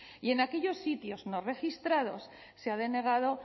y en aquellos sitios no registrados se ha denegado